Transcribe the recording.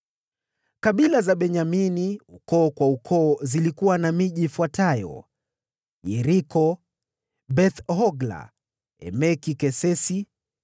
Kabila ya Benyamini, ukoo kwa ukoo, ilikuwa na miji mikubwa ifuatayo: Yeriko, Beth-Hogla, Emeki-Kesisi,